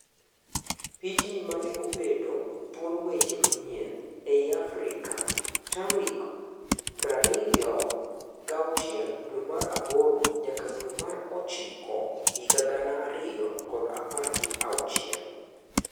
Pichni maneobedo thuon weche manyien ei Afrika:T arik prario gi auchiel dwee mar aboro nyaka dwee mar ochiko higa gana ario kod apar gi auchiel.